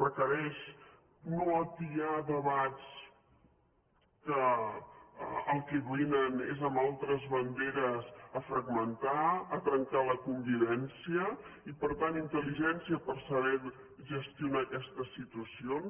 requereix no atiar debats que al que vénen és amb altres banderes a fragmentar a trencar la convivèn·cia i per tant intel·ligència per saber gestionar aquestes situacions